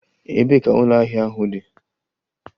Ebee ka ụlọ ahịa ahụ dị?